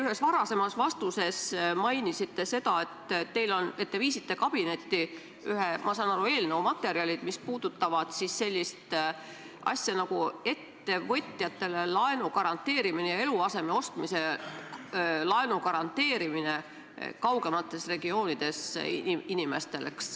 Ühes varasemas vastuses mainisite seda, et te viisite kabinetti ühe, ma saan aru, eelnõu materjalid, mis puudutavad siis sellist asja nagu ettevõtjatele laenu garanteerimine ja eluaseme ostmise laenu garanteerimine kaugemates regioonides inimestele.